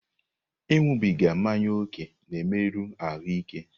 Ịṅụbiga mmanya ókè na-emerụ ahụ ike.